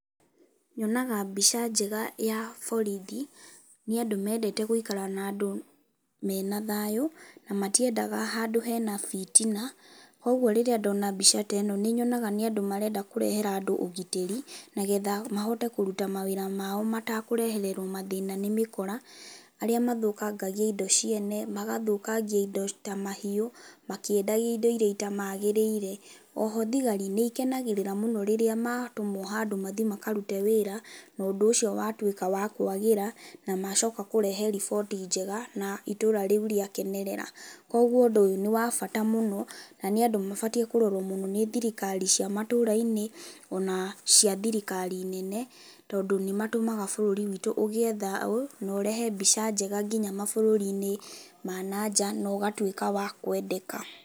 Nyonaga mbica njega ya borithi nĩ andũ mendete gũikara na andũ mena thayũ, na matiendaga handũ hena bitina, koguo rĩrĩa ndona mbica teno nĩĩnyonaga nĩ andũ marenda kũrehera andũ ũgitĩri nĩgetha mahote kũruta mawĩra mao matekũrehererwo mathĩĩna nĩ mĩkora, arĩa mathũkangagia indo ciene magathũkangia indo ta mahiũ, makĩendagia indo iria itamagĩrĩire, oho thigari nĩikenagĩrĩra mũno rĩrĩa matũmwo handũ mathĩ makarute wĩra na ũndũ ũcio watuĩka wa kwagĩra na macoka kũrehe riboti njega na itũũra rĩu rĩakenerera, koguo ũndũ ũyũ nĩ wa bata mũno na nĩa andũ mabataraga kũrorwo wega nĩ thirikari cia matũũra -inĩ, ona cia thirikari nene, tondũ nĩmatũmaga bũrũri wiitũ ũgĩe thayũ na ũrehe mbica njega nginya mabũrũri ma nanja nogatuĩka wa kwendeka.